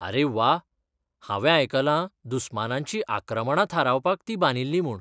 आरे व्वा! हांवें आयकलां दुस्मानांचीं आक्रमणां थारावपाक ती बांदिल्ली म्हूण.